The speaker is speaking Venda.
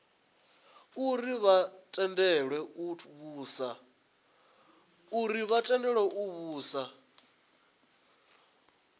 uri vha tendelwe u vhusa